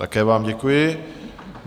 Také vám děkuji.